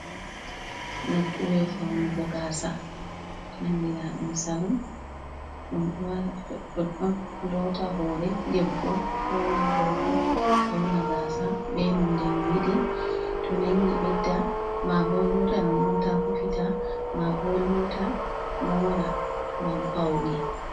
Nukkure faunugo gaasa, andina ɗum salum. Ɗum ɗo wara ɗoɗɗon loota hoore debbo, ko ma gorko, fauna gaasa be nonde no yiɗi. To nangi ɓedda maabo loota nonnon tan rufita, maabo loota, moora ngam paune.